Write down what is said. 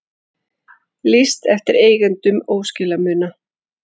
Lýst eftir eigendum óskilamuna